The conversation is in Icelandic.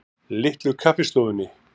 Litlu Kaffistofunni